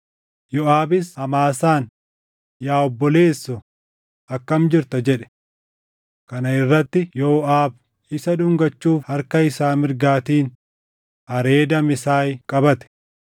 Yooʼaabis Amaasaan, “Yaa obboleessoo, akkam jirta?” jedhe. Kana irratti Yooʼaab isa dhungachuuf harka isaa mirgaatiin hareeda Amesaay qabate.